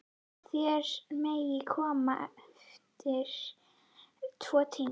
Þér megið koma eftir tvo tíma.